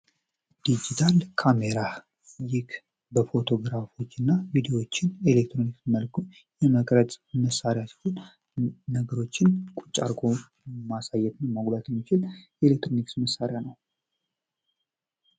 ዲጂታል ካሜራ ይህ ፎቶግራፎችና ካሜራዎችን ኤሌክትሪክ መልኩ የመቅረጽ መሳሪያ ሲሆን ነገሮችን ቁጭ አድርጎ ማሳይት የሚችል የኤሌክትሮኒክስ መሳሪያ ነው።